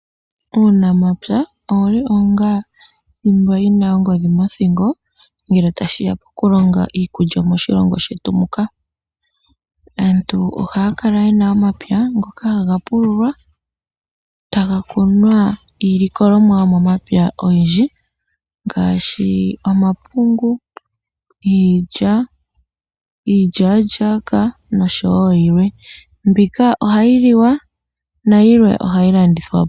Uunamapya owuli onga thimba yina ongodhi mothingo ngele tashi ya kokulonga iikulya moshilongo shetu muka. Aantu oha ya kala ye na omapya ngoka haga pululwa ta ga kunwa iilikolomwa yomomapya oyindji ngaashi omapungu, iilya, iilyalyaka noshowo yilwe. Mbika ohayi liwa nayilwe oha yi landithwa po.